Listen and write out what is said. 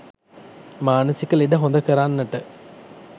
මානසික ලෙඩ හොඳ කරන්නට